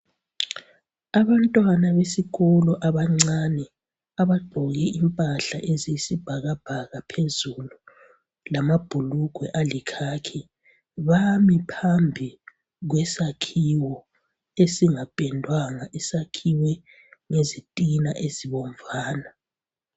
Abantwana besikolo abancane abagqoke impahla eziyisibhakabhaka phezulu lamabhulugwe alikhakhi bami phambi kwesakhiwo esingapendwanga esakhiwe ngezitina ezibomvana.